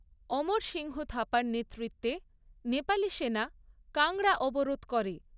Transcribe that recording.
অমর সিংহ থাপার নেতৃত্বে নেপালি সেনা কাংড়া অবরোধ করে।